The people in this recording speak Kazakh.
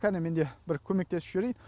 кәне мен де бір көмектесіп жіберейін